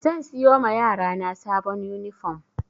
Zan siyo ma yarana sabon yunifom